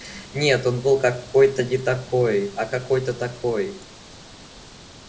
нет он был какой-то не такой а какой-то такой